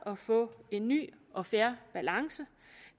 at få en ny og fair balance